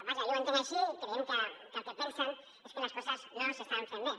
vaja jo ho entenc així i creiem que el que pensen és que les coses no s’estan fent bé